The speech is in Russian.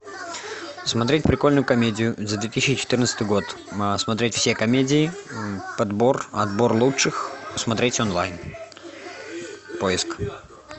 смотреть прикольную комедию за две тысячи четырнадцатый год смотреть все комедии подбор отбор лучших смотреть онлайн поиск